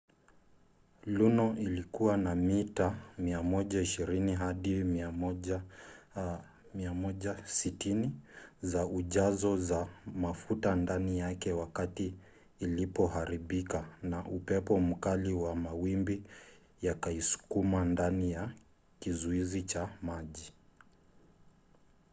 luno ilikuwa na mita 120-160 za ujao za mafuta ndani yake wakati ilipoharibika na upepo mkali na mawimbi yakaisukuma ndani ya kizuizi cha maji